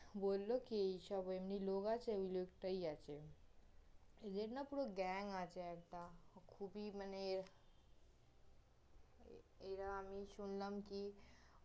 বলল কি ওইসব এমনি লোক আছে, ওই লোকটাই আছে এদের না পুরো gang আছে একটা, খুবই মানে এরা আমি শুনলাম কি ওমনি